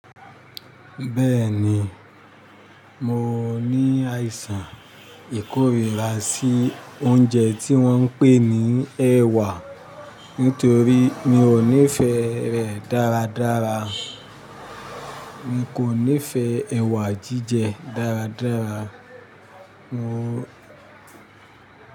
Bẹ́ẹ̀ ni, mo ní àìsàn ìkórìíra sí oúnjẹ tí wọ́n ń pè ní ẹwà nítorí mi ò nífẹ̀ẹ́ rẹ̀ dáradára. Mi kò nífẹ̀ẹ́ ẹwà jíjẹ dáradára. Mo.